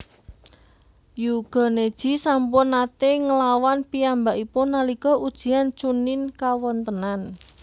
Hyuuga Neji sampun naté nglawan piyambakipun nalika ujian Chunnin kawontênan